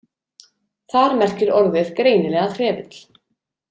Þar merkir orðið greinilega trefill.